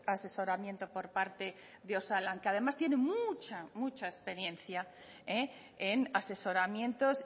asesoramiento por parte de osalan que además tiene mucha mucha experiencia en asesoramientos